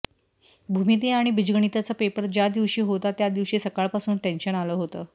भूमिती आणि बिजगणितचा पेपर ज्या दिवशी होता त्या दिवशी सकाळपासून टेन्शन आलं होतं